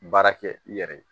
Baara kɛ i yɛrɛ ye